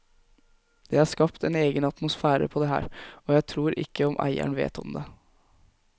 Det er skapt en egen atmosfære på det her, og jeg tror ikke om eieren vet om det.